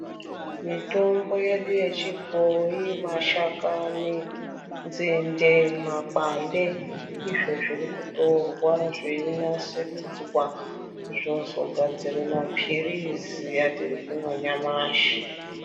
Mitombo yedu yechibhoyi mashakani, nzende makwande ndizvo zviri kutorwa zveinasiridzwa zvozogadzire mapirizi atiri kumwa nyamashi.